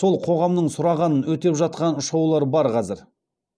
сол қоғамның сұрағанын өтеп жатқан шоулар бар қазір